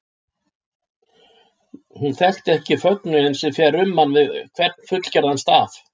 Hún þekkti ekki fögnuðinn sem fer um mann við hvern fullgerðan staf.